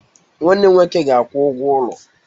Nwanne nwoke ga-akwụ ụgwọ ụlọ.